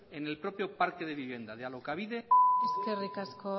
en el propio parque de viviendas de alokabide eskerrik asko